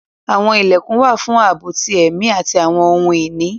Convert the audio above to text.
Àwọn ilẹkun wà fun àabo ti ẹmi ati awọn ohun-ini